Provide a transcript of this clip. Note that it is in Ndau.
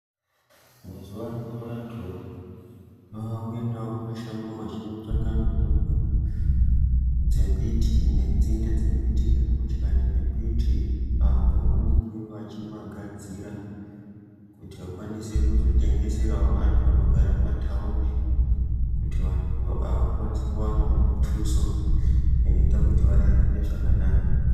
Mazuwaano antu aakuendawo kumashango vachindotsvaga mitombo dzembiti nenzinde dzembiti kana mashakani embiti , apo paanenge vachimagadzira kuti akwanise kuzotengeserawo antu anogare mumataundi kuti antu aya akwanise kuwanawo mutuso inoita kuti ararame zvakanaka